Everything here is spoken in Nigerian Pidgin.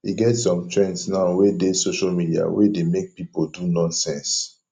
e get some trends now wey dey social media wey dey make people do nonsense